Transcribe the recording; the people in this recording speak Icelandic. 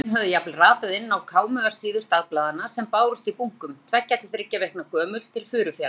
Myndir af þeim höfðu jafnvel ratað inn á kámugar síður dagblaðanna sem bárust í bunkum, tveggja til þriggja vikna gömul, til Furufjarðar.